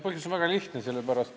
Põhjus on väga lihtne.